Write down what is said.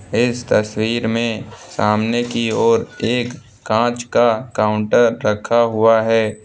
इस तस्वीर में सामने की ओर एक कांच का काउंटर रखा हुआ है।